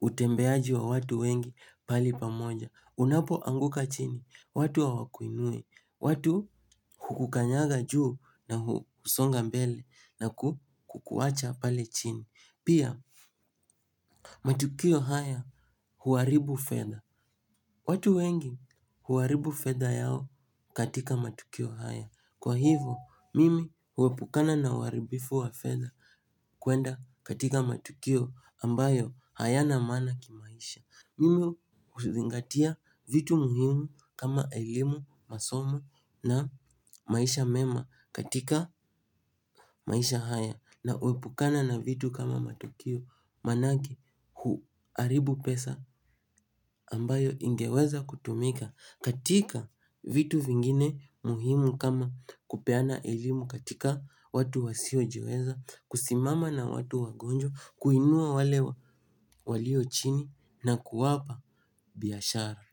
utembeaji wa watu wengi pahali pamoja. Unapoanguka chini watu hawakuinui, watu hukukanyaga juu na husonga mbele na kukuwacha pale chini. Pia matukio haya huaribu fedha. Watu wengi huaribu fedha yao katika matukio haya kwa hivyo mimi huepukana na uaribifu wa fedha kuenda katika matukio ambayo hayana maana kimaisha. Mimi huzingatia vitu muhimu kama elimu, masomo na maisha mema katika maisha haya na huepukana na vitu kama matukio manake huharibu pesa ambayo ingeweza kutumika katika vitu vingine muhimu kama kupeana elimu katika watu wasiojiweza, kusimama na watu wagonjwa, kuinua wale walio chini na kuwapa biashara.